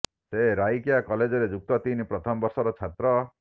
ସେ ରାଇକିଆ କଲେଜରେ ଯୁକ୍ତ ତିନି ପ୍ରଥମ ବର୍ଷର ଛାତ୍ର